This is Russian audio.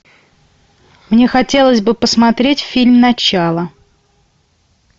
мне хотелось бы посмотреть фильм начало